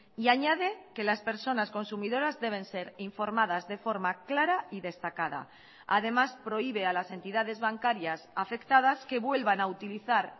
y añade que las personas consumidoras deben ser informadas de forma clara y destacada además prohíbe a las entidades bancarias afectadas que vuelvan a utilizar